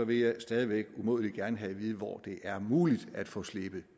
vil jeg stadig væk umådelig gerne have at vide hvor det er muligt at få slebet